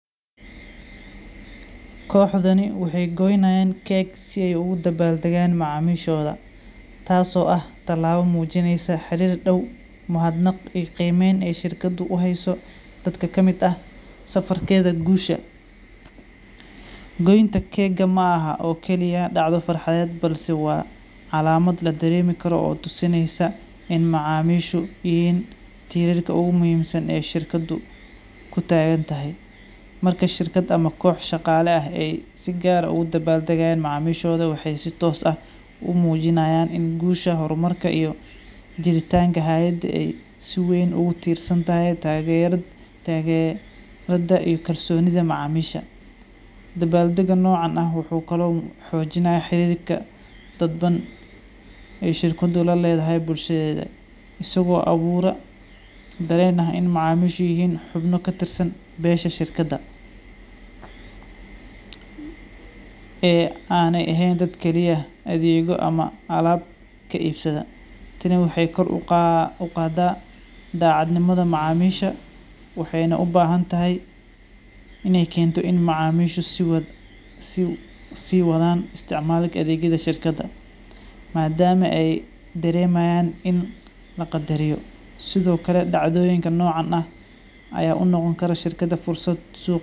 Koxdani waxay goynayan cake si ay ugu dabaldaga macamishoda tas oo ah talaba mujineysa xarir daw mahad naq qeymeyn ey shikada u hayso dadka kamid ah safarkeda gusha gointa kega mahan o kaliya dacdo farxad balse wacalamad ladarekaro o tusineysa in macamishu inay yihin tirasha ogu muhimsan shirkadu kutagantahay marka shirkada ama qox shaqala ah sigar ah ogu dabaldagayan macamishoda waxay si tos ah umujinatan in gusha hor marka iyo jiritanka hayda ey si weyn u tirsantahay ragyerata iyo kalsonida macamisha .Dabaldaga nocan wxu kala u xojinaya xidid dadban ey shirka laledahay bushadeda isago abura daren ah in mascamisha yihin xubno katirsan besha shirkada ee Ana ehen dadkaliya ama alab kaibsada kaliya wexey kor uqada dacadnimada maxamisha wexey na ubahantahay iney kentoo in macamishu siwathan istacmalka awoda shirkadaaa madama ey daremayan in laqadariyo sithole dacdoyinka nocan ah ayaunoqonkara shirkada fursad suq